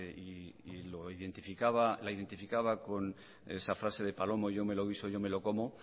y la identificaba con esa frase de palomo yo me lo guiso yo me lo como